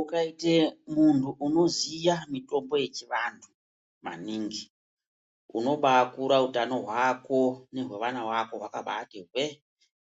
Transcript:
Ukaita munhu unoziya mitombo yechivanhu maningi , unobaakura utano hwako nehwevana vako hwakabaati hwee ,